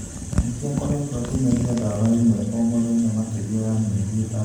Nikki akoretwo akimeria dawa imwe oo muthenya makiria ya mieri itandatũ.